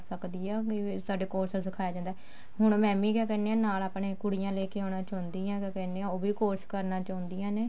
ਸਕਦੀ ਆ ਸਾਡੇ course ਸਿਖਾ ਜਾਂਦਾ ਹੁਣ ਮੈਂ ਵੀ ਕਿਆ ਕਹਿੰਦੀ ਹਾਂ ਨਾਲ ਕੁੜੀਆਂ ਲੈਕੇ ਆਉਣਾ ਚਾਹੁੰਦੀ ਹਾਂ ਕਿਆ ਕਹਿਨੇ ਆ ਉਹ ਵੀ course ਚਾਹੁੰਦੀਆਂ ਨੇ